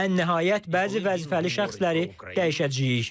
Ən nəhayət, bəzi vəzifəli şəxsləri dəyişəcəyik.